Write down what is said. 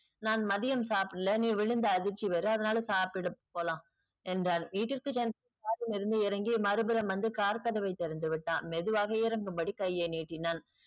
நா மதியம் சாப்டல நீ விழுந்த அதிர்ச்சி வேற அதுனால சாப்டுட்டு போலாம் என்றார் வீட்டிற்கு சென் car ல் இருந்து இறங்கி மறுபுறம் வந்து car கதவை திறந்துவிட்டான் மெதுவாக இறங்கும்படி கையை நீட்டினான்.